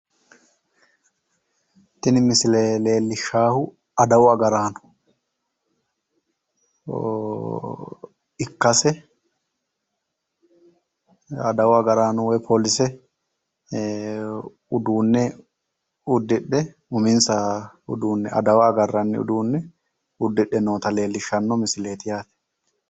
Tini misile leellishaahu adawu agaraano ikkase adawu agaraano woyi polise uduunne uddidhe uminsaha uddidhe adawa agarranni uduunne uddidhe noota leellishshanno misileeti yaate.